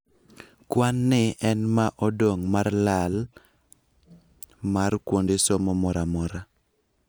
Kwan ni en ma odong' mar lala mar kuonde somo mora mora .